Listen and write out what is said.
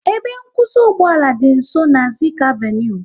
Ebe nkwụsị ugboala dị nsọ na Zik avenui